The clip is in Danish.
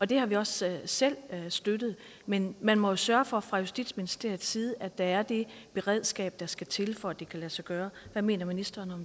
det har vi også selv støttet men man må jo sørge for fra justitsministeriets side at der er det beredskab der skal til for at det kan lade sig gøre hvad mener ministeren